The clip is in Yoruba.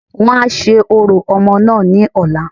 Wọ́n a se orò omoo náà ní ọ̀la